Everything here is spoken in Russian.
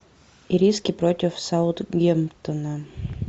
ириски против саутгемптона